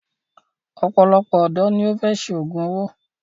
òpòlopò òdò ní o fè ṣe ògún owó.